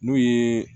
N'o ye